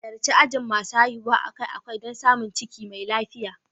Halarci ajin masu haihuwa akai-akai don samun ciki mai lafiya.